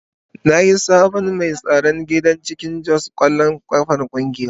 Ni ne sabon mai tsaron gida a cikin Jos kwallon kafa kungiya.